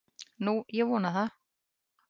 Nú, ég vona það.